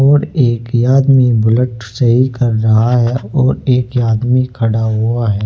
और एक आदमी बुलेट सही कर रहा है और एक आदमी खड़ा हुआ है।